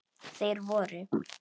Þeir voru